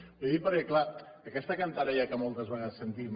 li ho dic perquè clar aquesta cantarella que moltes vegades sentim